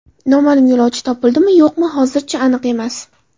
Noma’lum yo‘lovchi topildimi yo‘qmi hozirchi aniq emas.